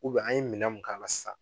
an ye minɛ mun k'a la sisan.